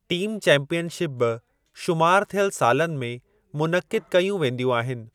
Team championship बि शुमारु थियल सालनि में मुनइक़िद कयूं वेंदियूं आहिनि।